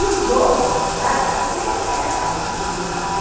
E os homens, no caso, as mulheres era fácil de sublimar, né.